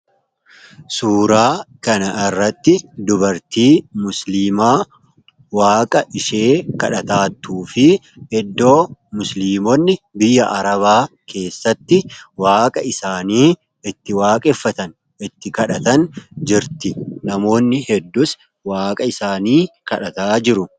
suuraa kana irratti dubartii musliimaa waaqa ishee kadhataatu fi iddoo muslimonni biyya arabaa keessatti waaqa isaanii itti waaqeffatan itti kadhatan jirti namoonni hedduus waaqa isaanii kadhataa jiru.